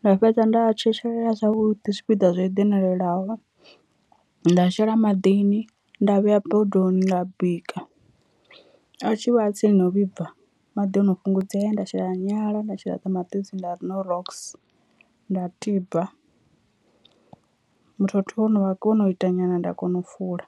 nda fhedza nda a tshetshelela zwavhuḓi zwipiḓa zwo eḓanelelaho, nda a shela maḓini nda vhea bodoni nda bika a tshi vha tsini no vhibva maḓi ano fhungudzea nda shela nyala nda shela ṱamaṱisi nda ri knorox, nda tiba muthotho wo no ita nyana nda kona u fula.